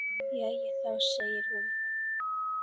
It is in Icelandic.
Jæja þá, segir hún.